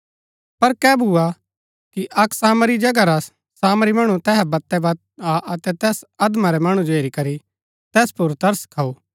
पर कै भुआ कि अक्क सामरिया जगह रा सामरी मणु तैहा वतैवत आ अतै तैस अधमरै मणु जो हेरी करी तैस पुर तरस खाऊ